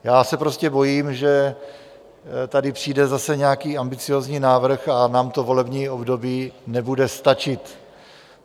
Já se prostě bojím, že tady přijde zase nějaký ambiciózní návrh a nám to volební období nebude stačit.